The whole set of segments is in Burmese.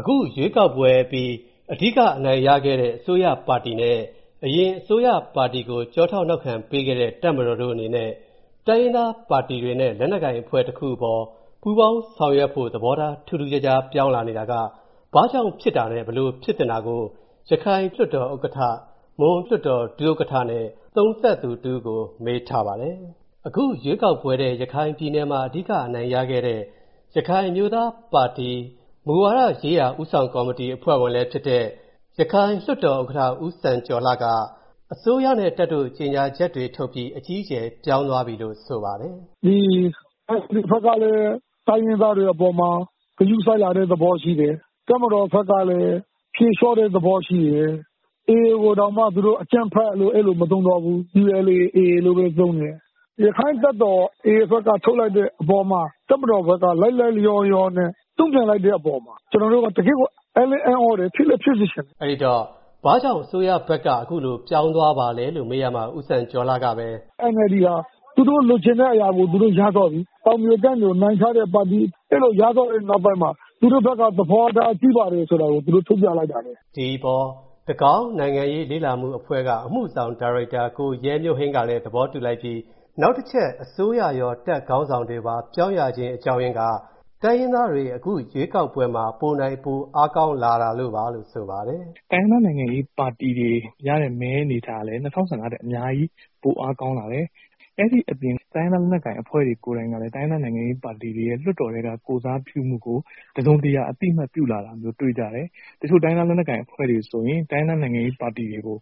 အခုရွေးကောက်ပွဲအပြီး အဓိကအနိုင်ရခဲ့တဲ့ အစိုးရပါတီနဲ့၊ အရင်အစိုးရပါတီကိုထောက်ခံပေးခဲ့တဲ့တပ်မတော်တို့အနေနဲ့၊ တိုင်းရင်းသားပါတီနဲ့ လက်နက်ကိုင်အဖွဲ့တွေအပေါ် ပူးပေါင်းဆောင်ရွက်နိုင်ဖို့ သဘောထား ထူးထူးခြားခြား ပြောင်းလဲလာနေတာ၊ ဘာကြောင့်နဲ့ ဘယ်လိုဖြစ်သင့်တာကို ရခိုင်ပြည်နယ်လွှတ်တော်ဥက္ကဌ၊ မွန်ပြည်နယ်လွှတ်တော် ဒုဥက္ကဌနဲ့ သုံးသပ်သူတစ်ဦးကို မေးထားပါတယ်။ အခုရွေးကောက်ပွဲထဲ ရခိုင်ပြည်နယ်မှာ အဓိကအနိုင်ရခဲ့တဲ့ ရခိုင်အမျိုးသားပါတီရဲ့ မူဝါဒရေးရာ ဦးဆောင်ကော်မတီအဖွဲ့ဝင်လည်းဖြစ်တဲ့၊ ရခိုင်ပြည်နယ် လွှတ်တော်ဥက္ကဌ ဦးစံကျော်လှကို၊ ကိုဝင်းမင်းကမေးရာမှာ အစိုးရနဲ့တပ်တို့ ကြေညာချက်တွေထုတ်ပြီး အကြီးအကျယ် ပြောင်းသွားပြီလို့ ဆိုပါတယ်။ “ဒီ NLD ဘက်ကလည်း တိုင်းရင်းသားတွေအပေါ်မှာ ဂရုစိုက်လာတဲ့ သဘောရှိတယ်။ တပ်မတော်ဘက်ကလည်း ဖြေလျော့တဲ့ သဘောရှိတယ်။ AA ကိုတောင်မှ သူတို့ အကြမ်းဖက်လို့ အဲလို မသုံးတော့ဘူး။ ULA /AA လို့ပဲ သုံးတယ်။ ရခိုင့်တပ်မတော် AA ဘက်က ထုတ်လိုက်တဲ့အပေါ်မှာ တပ်မတော်ဘက်က လိုက်လိုက်လျောလျောနဲ့ တုံ့ပြန်လိုက်တဲ့အပေါ်မှာ ကျနော်တို့ တကယ့်ကို အံသြတယ်၊ ဖြစ်လည်း ဖြစ်စေချင်တယ်” အဲဒီတော့ ဘာကြောင့်အစိုးရဘက်က အခုလို ပြောင်းသွားပါလဲလို့ မေးရာမှာ ဦးစံကျော်လှကပဲ “NLD ဟာ သူတို့လိုချင်တဲ့ အရာကို သူတို့ရသွားပြီ။ တောင်ပြိုကမ်းပြိုနိုင်ထားတဲ့ ပါတီ ။ အဲလိုရသွားတဲ့နောက်ပိုင်းမှာ သူတို့ဘက်က သဘောထား ပြည့်ပါတယ်ဆိုတာကို သူတို့ ထုတ်ပြလိုက်တာပဲ။” ဒီအပေါ် တကောင်းနိုင်ငံရေးလေ့လာမှုအဖွဲ့က အမှုဆောင် ဒါရိုက်တာ ကိုရဲမျိုးဟိန်းကလည်း သဘောတူလိုက်ပြီး နောက်တချက် အစိုးရရော တပ်ခေါင်းဆောင်တွေပါ ပြောင်းရခြင်းအကြောင်းအရင်းက တိုင်းရင်းသားတွေ အခုရွေးကောက်ပွဲမှာ ပိုနိုင်၊ ပိုအားကောင်းလာလို့ပါလို့ ဆိုပါတယ်။ “တိုင်းရင်းသားနိုင်ငံရေးပါတီတွေရတဲ့ မဲအနေအထားကလည်း ၂၀၁၅ ထက်အများကြီး ပိုအားကောင်းလာတယ်။ အဲဒီအပြင် တိုင်းရင်းသား လက်နက်ကိုင်အဖွဲ့တွေ ကိုယ်တိုင်ကလည်း တိုင်းရင်းသား နိုင်ငံရေးပါတီတွေရဲ့ လွှတ်တော်ထဲက ကိုယ်စားပြုမှုကို တစုံတရာ အသိအမှတ်ပြုလာတာ တွေ့ရတယ်။ တချို့ တိုင်းရင်းသား လက်နက်ကိုင်အဖွဲ့တွေ ဆိုရင် တိုင်းရင်းသား နိုင်ငံရေးပါတီတွေကို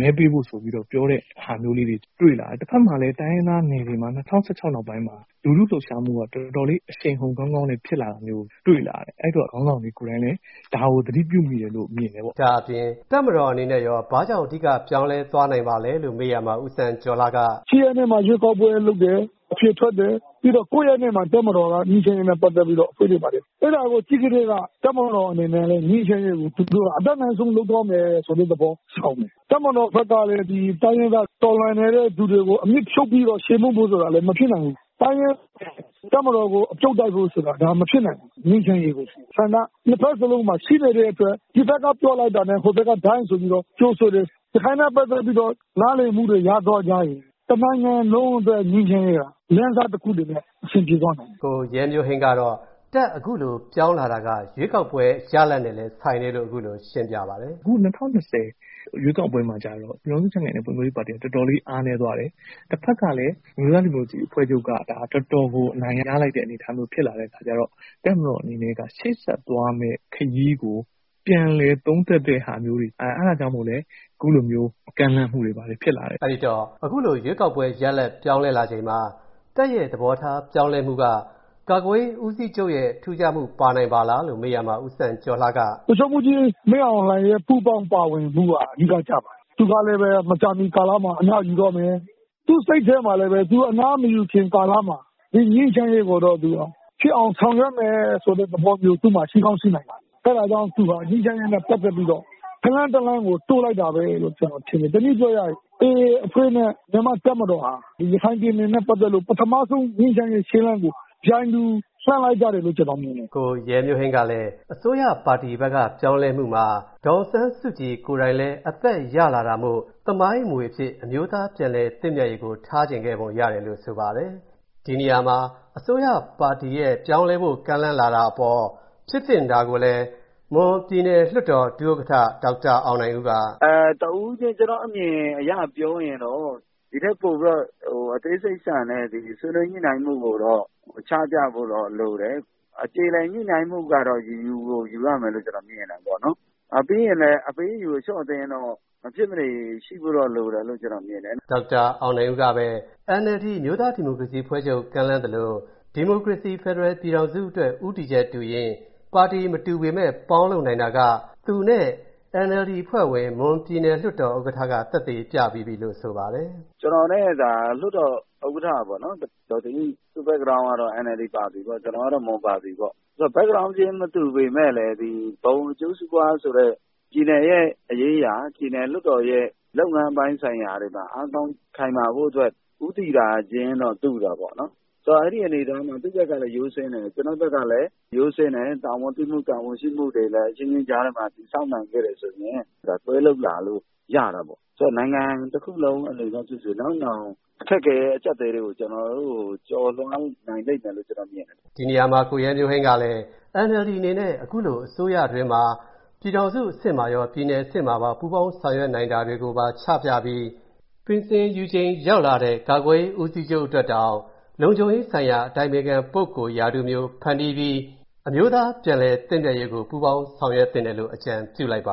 မဲပေးဖို့ဆိုပြီးတော့ ပြောတဲ့ ဟာမျိုးလေးတွေကို တွေ့လာတယ်။ တဖက်မှာလည်း တိုင်းရင်းသားနယ်တွေမှာ ၂၀၁၆ နောက်ပိုင်းမှာ လူထုလှုပ်ရှားမှုက တော်တော်လေး အရှိန်အဟုန်ကောင်းကောင်းနဲ့ ဖြစ်လာတာမျိုးကို တွေ့လာရတယ်။ အဲဒီအတွက် ခေါင်းဆောင်တွေ ကိုယ်တိုင်လည်း ဒါကို သတိပြုမိတယ်လို့ မြင်တယ်ပေါ့။” ဒါ့အပြင် တပ်မတော်အနေနဲ့ရော ဘာကြောင့်အဓိက ပြောင်းလဲသွားတာပါလဲလို့ မေးရာမှာ ဦးစံကျော်လှက - “၈ ရက်နေ့မှာ ရွေးကောက်ပွဲ လုပ်တယ်၊ အဖြေထွက်တယ်။ ပြီးတော့ ၉ ရက်နေ့မှာ တပ်မတော်က ငြိမ်းချမ်းရေးနဲ့ ပတ်သက်ပြီးတော့ ဆွေးနွေးပါတယ်။ အဲဒါကို ကြည့်ခြင်းဖြင့် တပ်မတော်အနေနဲ့ ငြိမ်းချမ်းရေးကို သူတို့ အတတ်နိုင်ဆုံး လုပ်သွားမယ်ဆိုတဲ့သဘော ဆောင်တယ်။ တပ်မတော်ဘက်ကလည်း တိုင်းရင်းသား တော်လှန်နေတဲ့သူတွေကို အမြစ်ဖြုတ်ပြီးတော့ ချေမှုန်းဖို့ဆိုတာလည်း မဖြစ်နိုင်ဘူး။ တိုင်းရင်းသားတွေလည်း တပ်မတော်ကို အပြုတ်တိုက်ဖို့ဆိုတာလည်း ဒါ မဖြစ်နိုင်ဘူး။ ငြိမ်းချမ်းရေးပဲ ရှိတယ်။ ဆန္ဒက ၂ ဖက်စလုံးမှာ ရှိနေတဲ့အတွက် ဒီဘက်က ပြောလိုက်တာနဲ့ ဟိုဘက်က ဒိုင်း ဆိုပြီးတော့ ကြိုဆိုတယ်။ ဒါနဲ့ ပတ်သက်ပြီးတော့ နားလည်မှုတွေ ရသွားရင် တနိုင်ငံလုံးအတွက် ငြိမ်းချမ်းရေးဟာ လမ်းစတခုအနေနဲ့ အဆင်ပြေသွားနိုင်တယ်။” ကိုရဲမျိုးဟိန်းကတော့ တပ်ဘက်ကအခုလို ပြောင်းလာတာက ရွေးကောက်ပဲ ရလဒ်နဲ့လည်း ဆိုင်တယ်လို့ အခုလိုရှင်းပြပါတယ်။ “အခု ၂၀၂၀ ရွေးကောက်ပွဲမှာကျတော့ ပြည်ထောင်စုကြံ့ခိုင်ရေးနဲ့ ဖွံ့ဖြိုးရေးပါတီတွေ တော်တော်လေး အားနည်းသွားတယ်။ တဖက်ကလည်း အမျိုးသားဒီမိုကရေစီအဖွဲ့ချုပ်က ဒါတော်တော်ကို အနိုင်ရလိုက်တဲ့ အနေအထားမျိုး ဖြစ်လာတဲ့ အခါကျတော့ တပ်မတော်အနေနဲ့က ရှေ့ဆက်သွားမယ့်ခရီးကို ပြန်လည် သုံးသပ်တာမျိုးတွေ၊ အဲဒါကြောင့်မို့လို့လည်း အခုလို ကမ်းလှမ်းတာမျိုးတွေ ဖြစ်လာတယ်။” အဲဒီတော့ အခုလို ရွေးကောက်ပွဲ ရလဒ်ပြောင်းလဲလာချိန်မှာ တပ်ဘက်က သဘောထားပြောင်းလဲမှုက ကာကွယ်ရေးဦးစီးချုပ်ရဲ့ ထူးခြားမှု ပါနိုင်ပါသလားလို့ မေးရာမှာ ဦးစံကျော်လှက “ဗိုလ်ချုပ်မှူးကြီး မင်းအောင်လှိုင်ရဲ့ ပူးပေါင်းပါဝင်မှုက နည်းလမ်းကျပါတယ်။ သူကလည်း မကြာမီကာလမှာ အနားယူတော့မယ်။ သူ့စိတ်ထဲမှာလည်း အနားမယူခင်ကာလမှာ ငြိမ်းချမ်းရေးကိုတော့ ဖြစ်အောင်ဆောင်ရွက်မယ် ဆိုတဲ့ သဘောမျိုး ရှိကောင်းရှိနိုင်ပါတယ်။ အဲဒါကြောင့် သူဟာ ငြိမ်းချမ်းရေးနဲ့ ပတ်သက်ပြီးတော့ ခြေလှမ်း တလှမ်းကို တိုးလိုက်တာပဲ လို့ ကျနော်ထင်တယ်။ တနည်းပြောရရင် AA အဖွဲ့နဲ့ မြန်မာ့တပ်မတော်ဟာ ရခိုင်ပြည်နယ်နဲ့ ပတ်သက်လို့ ပထမဦးဆုံး ငြိမ်းချမ်းရေး ခြေလှမ်းကို ပြိုင်တူ လှမ်းလိုက်ကြတယ်လို့ ကျနော်မြင်တယ်။” ကိုရဲမျိုးဟိန်းကလည်း အစိုးရ ပါတီဘက်က ပြောင်းလဲမှုမှာ ဒေါ်အောင်ဆန်းစုကြည်ကိုယ်တိုင်လည်း အသက်ရလာတာမို့ သမိုင်းအမွေအဖြစ် အမျိုးသားပြန်လည် သင့်မြတ်ရေးကို ထားချင်ခဲ့ပုံရတယ်လို့ ဆိုပါတယ်။ ဒီနေရာမှာ အစိုးရ ပါတီရဲ့ ပြောင်းလဲဖို့ ကမ်းလှမ်းလာတဲ့အပေါ် ဖြစ်သင့်တာကိုလည်း မွန်ပြည်နယ်လွှတ်တော် ဒုဥက္ကဋ္ဌ ဒေါက်တာ အောင်နိုင်ဦးက “တဦးချင်း ကျနော့်အမြင်အရပြောရင်တော့ ဒီထက်ပိုပြီးတော့ အသေးစိတ်ဆန်တဲ့ ဆွေးနွေးညှိနှိုင်း မှုကိုတော့ ချပြဖို့တော့လိုတယ်။ အကြေအလည် ညှိနှိုင်းမှုကတော့ ယူကို ယူရမယ်လို့တော့ ကျနော်မြင်တယ်ပေါ့နော်။ ပြီးရင်လည်း အပေးအယူ အလျှော့အတင်းတော့ မဖြစ်မနေ ရှိဖို့တော့ လိုတယ်လို့ ကျနော့်အနေနဲ့ မြင်တယ်။” ဒေါက်တာ အောင်နိုင်ဦးကပဲ NLD အမျိုးသားဒီမိုကရေစီအဖွဲ့ချုပ် ကမ်းလှမ်းသလို ဒီမိုကရေစီ ဖယ်ဒရယ်ပြည်ထောင်စုအတွက် ဦးတည်ချက်တူရေး ၊ ပါတီမတူပေမယ့် ပေါင်းလုပ်နိုင်တာက သူနဲ့ NLD အဖွဲ့ဝင် မွန်ပြည်နယ်လွှတ်တော်ဥက္ကဋ္ဌက သက်သေ ပြပြီးပြီလို့ဆိုပါတယ်။ “ကျနော်နဲ့သာ လွှတ်တော် ဥက္ကဋ္ဌပေါ့နော်၊ ဒေါ်တင်အိ၊ သူ့ Background ကတော့ NLD ပါတီပေါ့။ ကျနော်ကတော့ မွန်ပါတီပေါ့။ Background မတူပေမယ့် ဘုံအကျိုးစီးပွားဆိုတဲ့ ပြည်နယ်ရေးရာ၊ ပြည်နယ်လွှတ်တော်ရဲ့ လုပ်ငန်းပိုင်းဆိုင်ရာတွေမှာ အားကောင်း ခိုင်မာဖို့အတွက် ဦးတည်တာတော့ တူတာပေါေ့နာ်။ အဲဒီအနေအထားမှာ သူ့ဘက်ကလည်း ရိုးစင်းတယ်၊ ကျနော့်ဘက်ကလည်း ရိုးစင်းတယ်။ တာဝန်သိမှု တာဝန်ရှိမှုတွေလည်း အချင်းချင်းကြားထဲမှာ တည်ဆောက်နိုင်ခဲ့တယ်ဆိုရင် လက်တွဲလုပ်လာဖို့ ရတာပေါ့နော်။ ဆိုတော့ နိုင်ငံ တခုလုံးအနေနဲ့ဖြစ်စေ၊ နောက်နောင်အခက်အခဲတွေ ကျနော်တို့ကို ကျော်လွှားနိုင်လိမ့်မယ်လို့ ကျနော်မြင်တယ်။” ဒီနေရာမှာ ကိုရဲမျိုးဟိန်းကလည်း NLD အနေနဲ့ အခုလို အစိုးရအတွင်းမှာ ပြည်ထောင်စု အဆင့်မှာရော ပြည်နယ်အဆင့်မှာပါ ပူးပေါင်း ဆောင်ရွက်နိုင်တာတွေကိုပါ ချပြပြီး ပြင်ဆင်ယူချိန်ရောက်လာတဲ့ ကာကွယ်ရေး ဦးစီးချုပ်အတွက်တောင် လုံခြုံရေးဆိုင်ရာ အတိုင်ပင်ခံပုဂ္ဂိုလ် ရာထူးမျိုး ဖန်တီးပြီး အမျိုးသား ပြန်လည်သင့်မြတ်ရေးကို ပူးပေါင်းဆောင်ရွက်သင့်တယ်လို့ အကြံပြုလိုက်ပါ